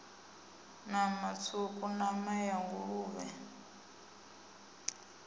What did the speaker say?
nama tswuku nama ya nguluvhe